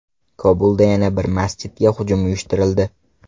Kobulda yana bir masjidga hujum uyushtirildi.